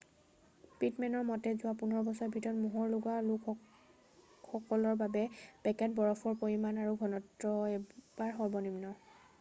পিটমেনৰ মতে যোৱা 15 বছৰৰ ভিতৰত মোহৰ লগোৱা সকলৰ বাবে পেকেট বৰফৰ পৰিমাণ আৰু ঘনত্ব এইবাৰ সৰ্বনিম্ন